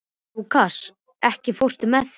Lúkas, ekki fórstu með þeim?